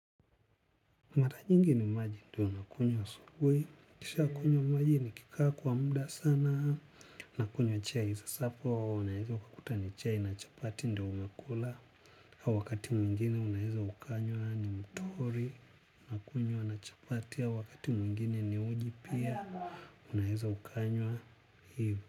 Mara nyingi ni maji ndio nakunywa asubuhi, nikisha kunywa maji nikikaa kwa muda sana, nakunywa chai sasapo, unaeza ukakuta ni chai na chapati ndio umekula, wakati mwingine unaeza ukanywa ni mtori, nakunywa na chapati, wakati mwingine ni uji pia, unaeza ukanywa hivo.